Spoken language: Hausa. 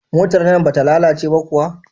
Motar nan bata lalace ba kuwa?